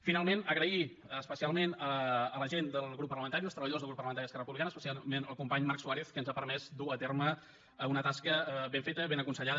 finalment donar les gràcies especialment a la gent del grup parlamentari als treballadors del grup parlamentari d’esquerra republicana especialment al company marc suárez que ens ha permès dur a terme una tasca ben feta ben aconsellada